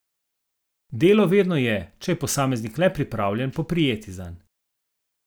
Delo vedno je, če je posameznik le pripravljen poprijeti zanj.